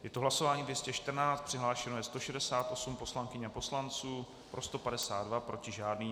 Je to hlasování 214, přihlášeno je 168 poslankyň a poslanců, pro 152, proti žádný.